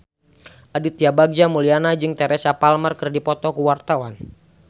Aditya Bagja Mulyana jeung Teresa Palmer keur dipoto ku wartawan